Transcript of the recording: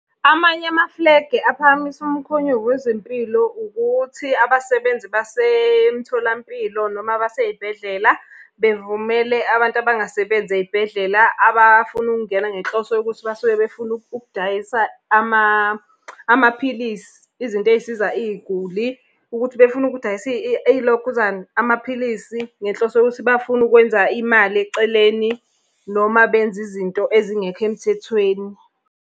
Amanye amafulegi aphakamisa umkhonyovu wezempilo ukuthi abasebenzi basemtholampilo noma abasey'bhedlela, bevumele abantu abangasebenzi ey'bhedlela abafuna ukungena ngenhloso yokuthi basuke befuna ukudayisa maphilisi. Izinto ey'siza iy'guli. Ukuthi befuna ukudayisa iy'lokhuzana, amaphilisi ngenhloso yokuthi bafuna ukwenza imali eceleni, noma benze izinto ezingekho emthethweni.